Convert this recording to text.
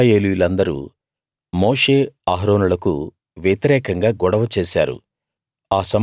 ఇశ్రాయేలీయులందరూ మోషే అహరోనులకు వ్యతిరేకంగా గొడవ చేశారు